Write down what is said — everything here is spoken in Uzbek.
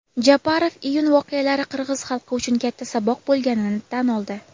Japarov iyun voqealari qirg‘iz xalqi uchun katta saboq bo‘lganini tan oldi.